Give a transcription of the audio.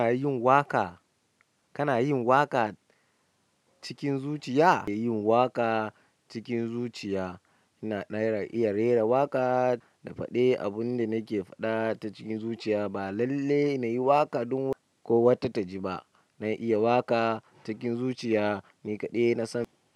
Kana yin waƙa, kana yin waƙa cikin zuciya? Ina yin waƙa cikin zuciya, ina iya rera waƙa da faɗe. Abun da nake faɗa ta cikin zuciya ba lalle nayi waƙa don ko wata taji ba. Na iya waƙa cikin zuciya, ni kaɗai nasan.